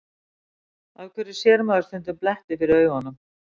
Af hverju sér maður stundum bletti fyrir augunum?